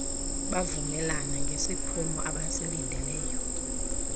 bavumelana ngesiphumo abasilindeleyo